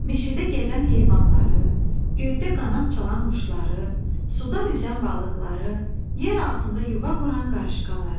Meşədə gəzən heyvanları, göydə qanad çalan quşları, suda üzən balıqları, yeraltında yuva quran qarışqaları.